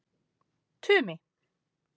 Tumi